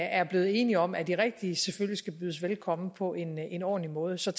er blevet enige om er de rigtige selvfølgelig skal bydes velkommen på en en ordentlig måde så